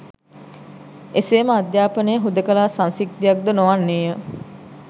එසේම අධ්‍යාපනය හුදෙකලා සංසිද්ධියක් ද නොවන්නේය